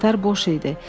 Qatar boş idi.